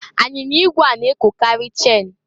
Anyinya igwe a na-ekokarị chen.